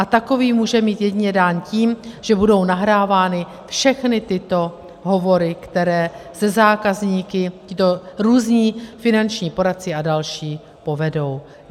A takový může mít jedině dán tím, že budou nahrávány všechny tyto hovory, které se zákazníky tito různí finanční poradci a další povedou.